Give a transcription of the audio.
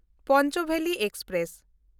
Panchbeli express